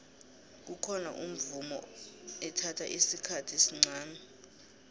kukhona umvumo ethatha isikhathi esncani